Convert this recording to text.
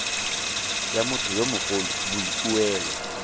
ya motho yo mogolo boikuelo